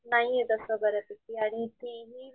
नाहीये तस बऱ्या पैकी आणि ती हि,